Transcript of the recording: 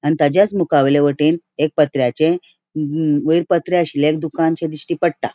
आणि ताचास मुका वयल्या वाटेन एक पत्र्याचें वयर पत्रे आसले एक दुकान दिश्टी पट्टा.